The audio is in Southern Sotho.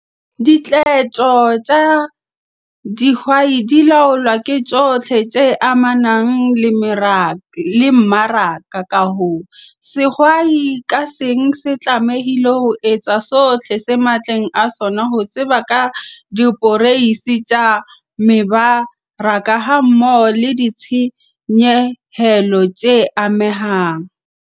Diqeto tsa dihwai di laolwa ke tsohle tse amanang le mmaraka - ka hoo, sehwai ka seng se tlamehile ho etsa sohle se matleng a sona ho tseba ka diporeisi tsa mebaraka hammoho le ditshenyehelo tse amehang.